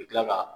U bɛ tila ka